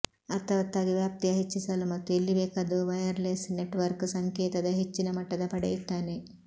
ಅರ್ಥವತ್ತಾಗಿ ವ್ಯಾಪ್ತಿಯ ಹೆಚ್ಚಿಸಲು ಮತ್ತು ಎಲ್ಲಿಬೇಕಾದರೂ ವೈರ್ಲೆಸ್ ನೆಟ್ವರ್ಕ್ ಸಂಕೇತದ ಹೆಚ್ಚಿನ ಮಟ್ಟದ ಪಡೆಯುತ್ತಾನೆ